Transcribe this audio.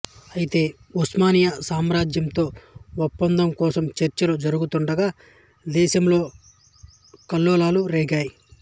అయితే ఉస్మానియా సామ్రాజ్యంతో ఒప్పందం కోసం చర్చలు జరుగుతూండగా దేశంలో కల్లోలాలు రేగాయి